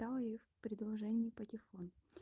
да их в предложении патефон